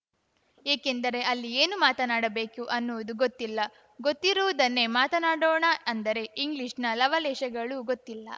ಏಕೆಂದರೆ ಅಲ್ಲಿ ಏನು ಮಾತನಾಡಬೇಕು ಅನ್ನುವುದು ಗೊತ್ತಿಲ್ಲ ಗೊತ್ತಿರುವುದನ್ನೇ ಮಾತನಾಡೋಣ ಅಂದರೆ ಇಂಗ್ಲೀಷ್‌ನ ಲವಲೇಶಗಳೂ ಗೊತ್ತಿಲ್ಲ